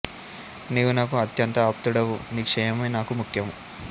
నీవు నాకు అత్యంత ఆప్తుడవు నీ క్షేమమే నాకు ముఖ్యము